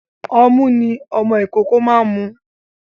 Ọmu ni ọmọ ìkókó máa ń mu.